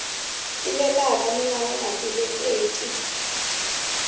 tivekaka ni lava nga tivekiki